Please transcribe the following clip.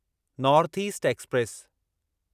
north east express